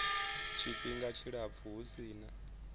tshifhinga tshilapfu hu si na